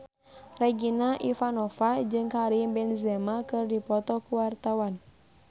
Regina Ivanova jeung Karim Benzema keur dipoto ku wartawan